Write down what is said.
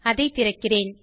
அதை திறக்கிறேன்